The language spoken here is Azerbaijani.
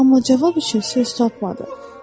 Amma cavab üçün söz tapmadı.